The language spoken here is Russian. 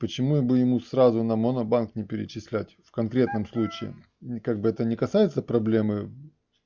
почему бы ему сразу на монобанк не перечислять в конкретном случае как бы это не касается проблемы